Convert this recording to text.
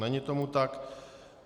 Není tomu tak.